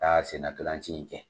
Taa sen na ntolan ci in kɛ.